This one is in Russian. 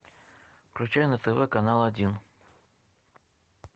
включай на тв канал один